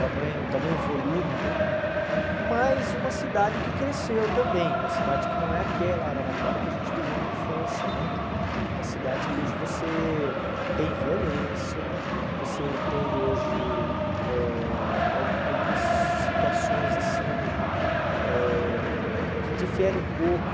tamanho tamanho volume né, mas uma cidade que cresceu também, uma cidade que não é aquela Araraquara que a gente viveu na infância né, uma cidade que hoje você tem violência, você tem hoje eh al algumas situações assim eh que diferem um pouco...